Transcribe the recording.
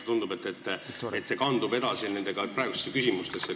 Tundub, et see kandus praegu edasi ka küsimustesse.